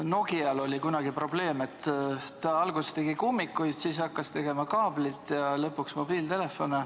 Nokia puhul oli kunagi probleem, et ta alguses tegi kummikuid, siis hakkas tegema kaablit ja lõpuks mobiiltelefone.